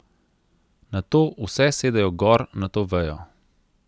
Nato vse sedejo gor na to vejo.